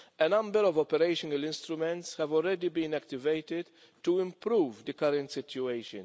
A number of operational instruments have already been activated to improve the current situation.